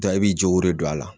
Dɔn e b'i jogo de don a la